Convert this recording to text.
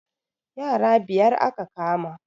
Yara biyar aka kama